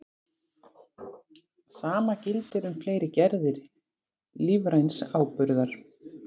Sama gildir um fleiri gerðir lífræns áburðar.